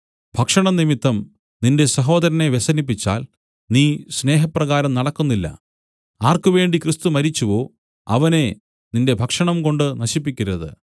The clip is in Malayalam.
ഭക്ഷണം നിമിത്തം നിന്റെ സഹോദരനെ വ്യസനിപ്പിച്ചാൽ നീ സ്നേഹപ്രകാരം നടക്കുന്നില്ല ആർക്കുവേണ്ടി ക്രിസ്തു മരിച്ചുവോ അവനെ നിന്റെ ഭക്ഷണംകൊണ്ടു നശിപ്പിക്കരുത്